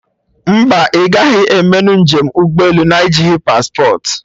Mba, ị gaghị emenụ njem ụgbọ elu na-ejighị paspportị